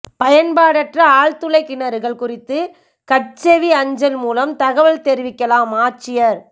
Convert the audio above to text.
பயன்பாடற்ற ஆழ்துளைக் கிணறுகள் குறித்து கட்செவி அஞ்சல் மூலம் தகவல் தெரிவிக்கலாம்ஆட்சியா்